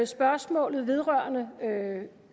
spørgsmålet vedrørende